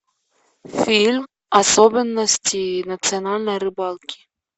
фильм особенности национальной рыбалки